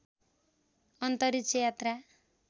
अन्तरिक्ष यात्रा